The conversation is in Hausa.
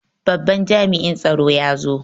Babban jami'in tsaro ya zo.